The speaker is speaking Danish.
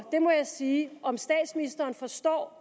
det må jeg sige om statsministeren forstår